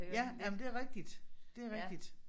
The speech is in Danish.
Ja jamen det er rigtigt det er rigtigt